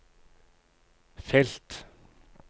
felt